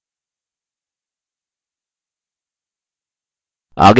अब बदलावों को डिलीट करते हैं